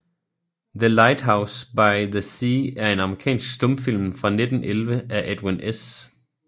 The Lighthouse by the Sea er en amerikansk stumfilm fra 1911 af Edwin S